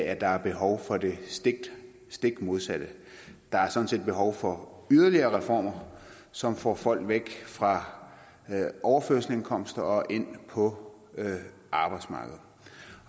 at der er behov for det stik modsatte der er sådan set behov for yderligere reformer som får folk væk fra overførselsindkomster og ind på arbejdsmarkedet